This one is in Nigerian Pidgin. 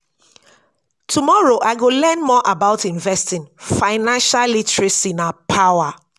tomorrow i go learn more about investing financial literacy na power